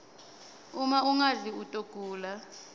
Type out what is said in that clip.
uma ungadli utawgula